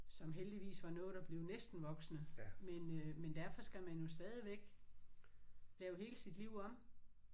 Som heldigvis var nået at blive næsten voksne men øh men derfor skal man jo stadigvæk lave hele sit liv om